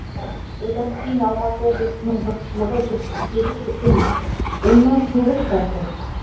одан кейін алматы облысының жұртшылығы жетпіс сегіз бүтін оннан тоғыз процент